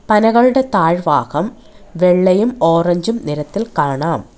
പനകളുടെ താഴ്ഭാഗം വെള്ളയും ഓറഞ്ചും നിറത്തിൽ കാണാം.